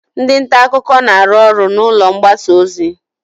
Ndị nta akụkọ na-arụ ọrụ n'ụlọ mgbasa ozi.